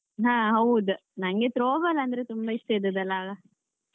ಹಾ ಹೌದ್ ನಂಗೆ Throwball ಅಂದ್ರೆ ತುಂಬಾ ಇಷ್ಟ ಇದ್ದದ್ದ್ ಅಲ್ಲ ಆಗ.